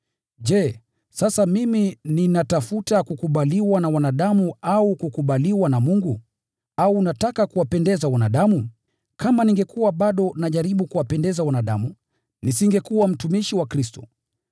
Je, sasa mimi ninatafuta kukubaliwa na wanadamu au kukubaliwa na Mungu? Au nataka kuwapendeza wanadamu? Kama ningekuwa bado najaribu kuwapendeza wanadamu, nisingekuwa mtumishi wa Kristo.